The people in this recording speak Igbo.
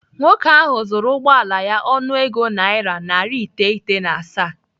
Nwoke ahụ zụrụ ụgbọala ya ọnụego naira narị iteghete na asaa.